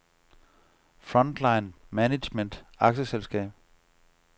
Frontline Management A/S